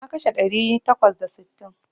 Na kashe ɗari takwas da sittin.